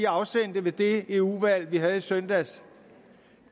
afsendte ved det eu valg vi havde i søndags